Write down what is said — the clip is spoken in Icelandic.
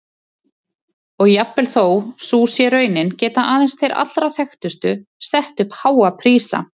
Og jafnvel þó sú sé raunin geta aðeins þeir allra þekktustu sett upp háa prísa.